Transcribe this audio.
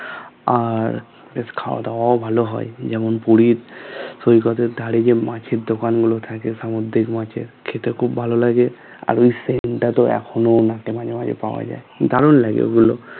আর বেশ খাওয়া দাওয়া ভালো হয় যেমন পুরীর সৈকত এর ধারে যে মাছের দোকান গুলো থাকে সামুদ্রিক মাছের খেতে খুব ভালো লাগে আর ওই cent টাতো এখনো অনেকটা মাঝে মাঝে পাওয়া যায়